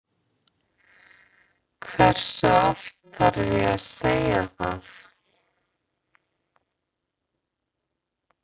Hversu oft þarf ég að segja það?